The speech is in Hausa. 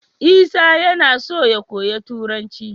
Isa yAna so ya koyi turanci